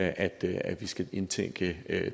at vi skal indtænke